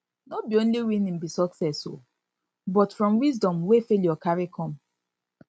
no be only winning be success o but from wisdom wey failure cari com